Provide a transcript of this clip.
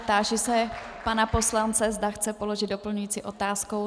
Táži se pana poslance, zda chce položit doplňující otázku.